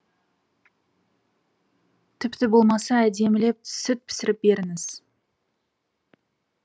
тіпті болмаса әдемілеп сүт пісіріп беріңіз